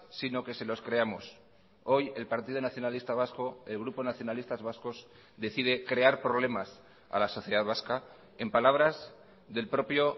sino que se los creamos hoy el partido nacionalista vasco el grupo nacionalistas vascos decide crear problemas a la sociedad vasca en palabras del propio